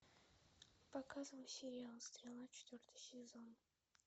показывай сериал стрела четвертый сезон